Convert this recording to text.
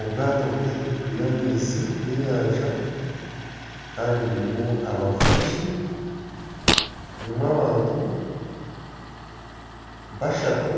Obwaato buri ahaiguru y'amaizi g'enyanja Kandi burimu abavugi ,burimu abantu bashatu